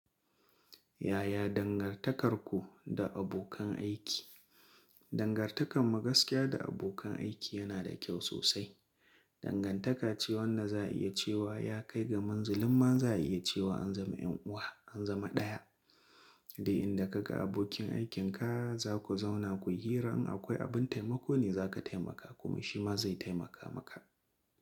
Yaya dangantakarku da abokan aiki? Dangantakar magaskiya da abokan aiki yana da kyau sosai. Dangantaka ce wannan za'iyace wa ya kai ga munzillan za'iyace wa an zama en uwa, an zama daya. Duk inda ka ga abokin aikin ka za ku zauna ku yi hira in akwai abin taimako ne za ka taimaka kuma shi ma zai taimaka maka.